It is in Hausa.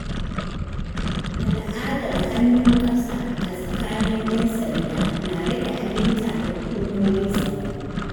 Al’adar “hannu ƙasa” a tsakanin ‘yan sanda na rage aminta da hukumomin tsaro.